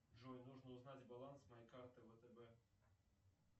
джой нужно узнать баланс моей карты втб